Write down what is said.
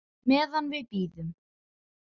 Meðan við bíðum.